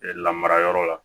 lamarayɔrɔ la